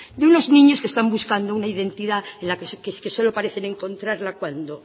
de unos niños que están buscando una identidad que es que solo parecen encontrarla cuando